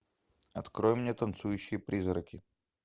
открой мне танцующие призраки